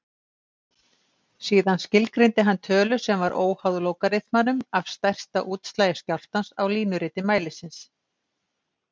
Síðan skilgreindi hann tölu sem var háð lógariþmanum af stærsta útslagi skjálftans á línuriti mælisins.